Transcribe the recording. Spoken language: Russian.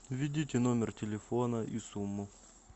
введите номер телефона и сумму